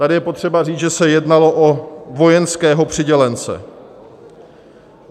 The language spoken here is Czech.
Tady je potřeba říct, že se jednalo o vojenského přidělence.